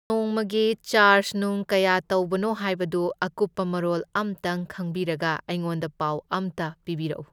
ꯅꯣꯡꯃꯒꯤ ꯆꯥꯔꯖ ꯅꯨꯡ ꯀꯌꯥ ꯇꯧꯕꯅꯣ ꯍꯥꯏꯕꯗꯨ ꯑꯀꯨꯞꯄ ꯃꯔꯣꯜ ꯑꯝꯇꯪ ꯈꯪꯕꯤꯔꯒ ꯑꯩꯉꯣꯟꯗ ꯄꯥꯎ ꯑꯝꯇ ꯄꯤꯕꯤꯔꯛꯎ꯫